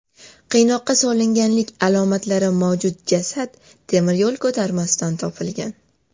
Qiynoqqa solinganlik alomatlari mavjud jasad temir yo‘l ko‘tarmasidan topilgan.